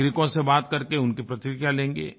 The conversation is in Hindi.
नागरिकों से बात करके उनकी प्रतिक्रिया लेंगे